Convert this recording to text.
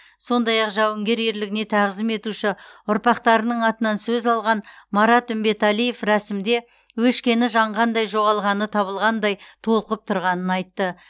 сондай ақ жауынгер ерлігіне тағзым етуші ұрпақтарының атынан сөз алған марат үмбетәлиев рәсімде өшкені жанғандай жоғалғаны табылғандай толқып тұрғанын айтты